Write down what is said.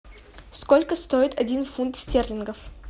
сколько стоит один фунт стерлингов